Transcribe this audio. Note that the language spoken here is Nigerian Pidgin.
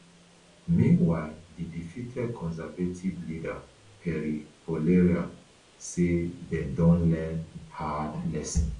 meanwhile di defeated conservative leader pierre poilievre say dem don learn hard lessons